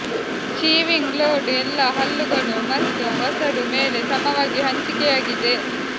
chewing load ಎಲ್ಲಾ ಹಲ್ಲುಗಳು ಮತ್ತು ವಸಡು ಮೇಲೆ ಸಮವಾಗಿ ಹಂಚಿಕೆಯಾಗಿದೆ